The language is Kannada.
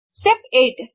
ಸ್ಟೆಪ್ 8